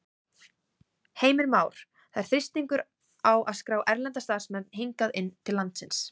Heimir Már: Það er þrýstingur á að skrá erlenda starfsmenn hingað inn til landsins?